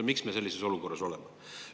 Miks me sellises olukorras oleme?